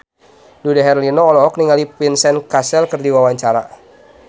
Dude Herlino olohok ningali Vincent Cassel keur diwawancara